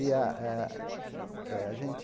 E a a é a gente...